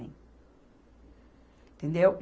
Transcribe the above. Entendeu?